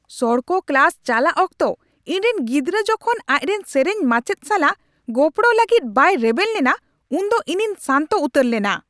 ᱥᱚᱲᱠᱚ ᱠᱞᱟᱥ ᱪᱟᱞᱟᱜ ᱚᱠᱛᱚ ᱤᱧ ᱨᱮᱱ ᱜᱤᱫᱽᱨᱟᱹ ᱡᱚᱠᱷᱚᱱ ᱟᱡ ᱨᱮᱱ ᱥᱮᱹᱨᱮᱹᱧ ᱢᱟᱪᱮᱫ ᱥᱟᱞᱟᱜ ᱜᱚᱯᱲᱚ ᱞᱟᱹᱜᱤᱫ ᱵᱟᱭ ᱨᱮᱵᱮᱱ ᱞᱮᱱᱟ ᱩᱱᱫᱚ ᱤᱧᱤᱧ ᱥᱟᱱᱛᱚ ᱩᱛᱟᱹᱨ ᱞᱮᱱᱟ ᱾